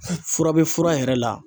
Fura bɛ fura yɛrɛ la